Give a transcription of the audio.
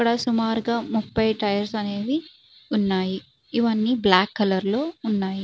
ఇక్కడ సుమారుగా ముప్పై టైర్స్ అనేవి ఉన్నాయి. ఇవి అన్ని బ్లాక్ కలర్ లో ఉన్నాయి.